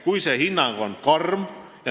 Kui see hinnang on karm ...